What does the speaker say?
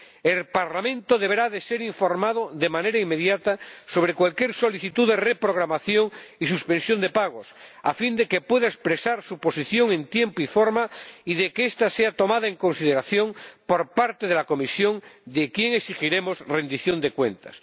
El Parlamento deberá ser informado, de manera inmediata, sobre cualquier solicitud de reprogramación y suspensión de pagos, a fin de que pueda expresar su posición en tiempo y forma y de que esta sea tomada en consideración por parte de la Comisión, de quien exigiremos rendición de cuentas.